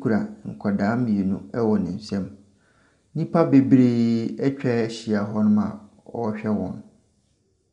kura nkwadaa mmienu wɔ ne nsamu. Nnipa bebree atwa ahyia hɔ na wɔrehwɛ wɔn.